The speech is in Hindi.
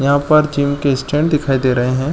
यहां पर जिम के स्टैंड दिखाई दे रहे हैं।